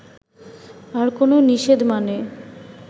আর কোনো নিষেধ মানে